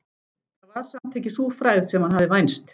Það var samt ekki sú frægð sem hann hafði vænst.